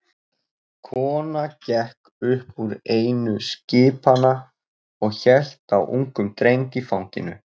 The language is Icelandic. Kona gekk upp úr einu skipanna og hélt á ungum dreng í fanginu.